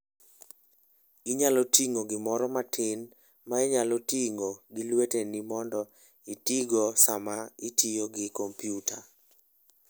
Inyalo ting'o gimoro matin ma inyalo ting'o gi lweteni mondo itigo sama itiyo gi kompyuta.